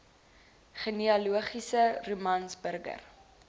genealogiese romans burger